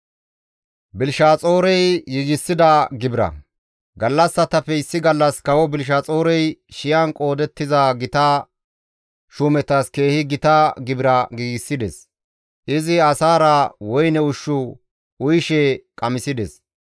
Gallassatappe issi gallas kawo Belishaxoorey shiyan qoodettiza gita shuumetas keehi gita gibira giigsides; izi asaara woyne ushshu uyishe qamisides.